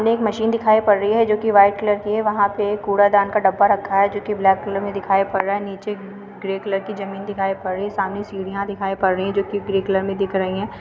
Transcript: में एक मशीन दिखाई पड़ रही है जोकि व्हाइट कलर की है। वहाँ पे कुड़ादान का डब्बा रखा है जोकि ब्लैक कलर में दिखाई पड़ रहा है। नीचे ग्रे कलर की ज़मीन दिखाई पड़ रही है। सामने सीढ़ियाँ दिखाई पड़ रही हैं जोकि ग्रे कलर दिख रही हैं।